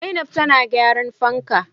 Zainab tana gyran fanka